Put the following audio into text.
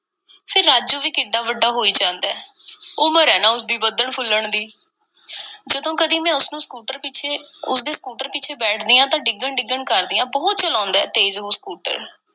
ਫੇਰ ਰਾਜੂ ਵੀ ਕਿੱਡਾ ਵੱਡਾ ਹੋਈ ਜਾਂਦਾ ਏ, ਉਮਰ ਏ ਨਾ ਉਸ ਦੀ, ਵਧਣ-ਫੁੱਲਣ ਦੀ। ਜਦੋਂ ਕਦੀ ਮੈਂ ਉਸ ਨੂੰ ਸਕੂਟਰ ਪਿੱਛੇ, ਉਸ ਦੇ ਸਕੂਟਰ ਪਿੱਛੇ ਬੈਠਦੀ ਆਂ ਤਾਂ ਡਿੱਗਣ-ਡਿੱਗਣ ਕਰਦੀ ਆਂ, ਬਹੁਤ ਚਲਾਉਂਦਾ ਤੇਜ਼ ਉਹ ਸਕੂਟਰ।